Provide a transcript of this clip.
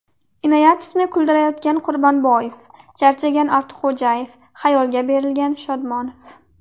Inoyatovni kuldirayotgan Quronboyev, charchagan Ortiqxo‘jayev, xayolga berilgan Shodmonov.